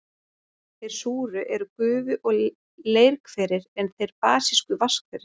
Þeir súru eru gufu- og leirhverir, en þeir basísku vatnshverir.